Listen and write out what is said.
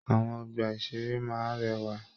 Àwọn ọgbà-ìṣeré máa n rẹwà.